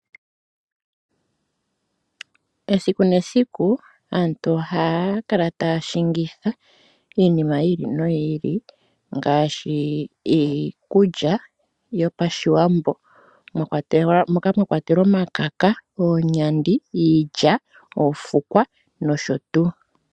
Esiku nesiku aantu ohaakala taashingitha iinima yiili noyiili ngaashi: iikulya yopashiwambo moka mwakwatelwa omakaka, oonyandi, iilya, oofukwa nosho tuu.